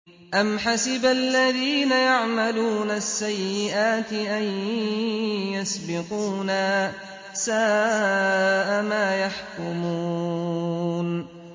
أَمْ حَسِبَ الَّذِينَ يَعْمَلُونَ السَّيِّئَاتِ أَن يَسْبِقُونَا ۚ سَاءَ مَا يَحْكُمُونَ